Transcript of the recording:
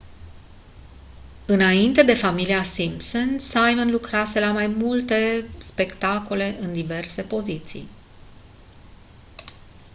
înainte de familia simpson simon lucrase la mai multe spectacole în diverse poziții